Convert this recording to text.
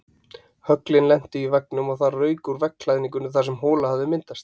Höglin lentu í veggnum og það rauk úr veggklæðningunni þar sem hola hafði myndast.